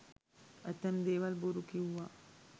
ඇතැම් දේවල් බොරු කිව්ව.